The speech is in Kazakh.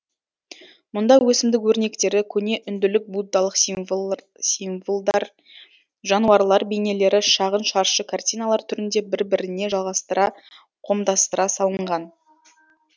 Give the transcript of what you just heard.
мұнда өсімдік өрнектері көне үнділік буддалық символдар жануарлар бейнелері шағын шаршы картиналар түрінде бір біріне жалғастыра қомдастыра салынған